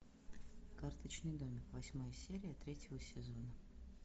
карточный домик восьмая серия третьего сезона